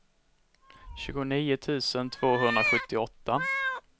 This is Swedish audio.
tjugonio tusen tvåhundrasjuttioåtta